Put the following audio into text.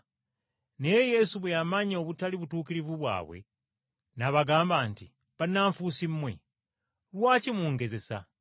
Naye Yesu bwe yamanya obutali butuukirivu bwabwe, n’abagamba nti, “Bannanfuusi mmwe, Lwaki mungezesa?